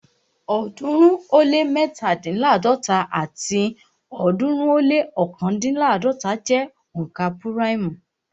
ọ̀ọ́dúnrún ó lé mẹ́tándínláàdọ́ta àti ọ̀ọ́dúnrún ó lé ọ̀kándínláàdọ́ta jẹ́ òǹkà púráìmù